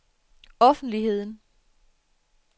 offentligheden